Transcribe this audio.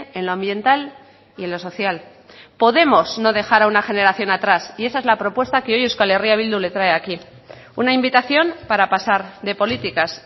en lo ambiental y en lo social podemos no dejar a una generación atrás y esa es la propuesta que hoy euskal herria bildu le trae aquí una invitación para pasar de políticas